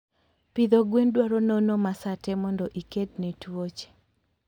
Pidho gwen dwaro nonoo ma sate mondo ikedne tuoche